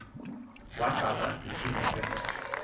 waxakwa sisimo sendoda